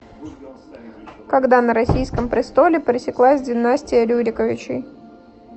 когда на российском престоле пресеклась династия рюриковичей